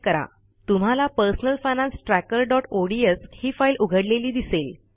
तुम्हाला personal finance trackerओडीएस ही फाईल उघडलेली दिसेल